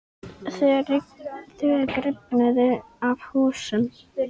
Þök rifnuðu af húsum.